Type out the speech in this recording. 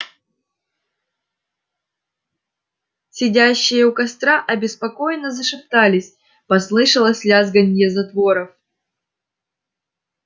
сидящие у костра обеспокоенно зашептались послышалось лязганье затворов